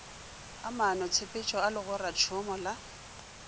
ga maanotshepetšo a legoratšhomo la